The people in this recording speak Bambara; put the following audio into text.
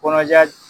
Kɔnɔja